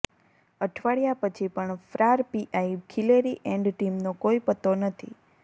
અઠવાડિયા પછી પણ ફ્રાર પીઆઈ ખિલેરી એન્ડ ટીમનો કોઈ પત્તો નથી